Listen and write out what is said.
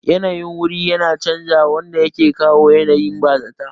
Yanayin wuri yakan chanza wanda yake kawo yanayin bazata